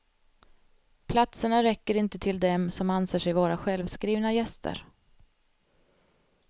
Platserna räcker inte till dem som anser sig vara självskrivna gäster.